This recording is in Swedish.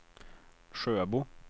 Sjöbo